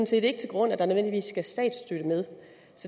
set ikke til grund at der nødvendigvis skal statsstøtte med